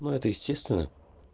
ну это естественно